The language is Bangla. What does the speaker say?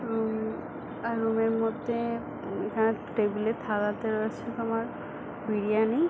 রুম - ম আর রুম - এর মধ্যে এখানে টেবিল - এ থালাতে রয়েছে তোমার বিরিয়ানি --